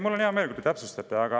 Mul on hea meel, kui te täpsustate.